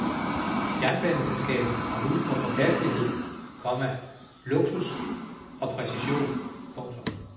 Jernbaneselskabet har ry for pålidelighed, komma luksus og præcision. punktum